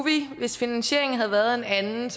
vi hvis finansieringen havde været et anden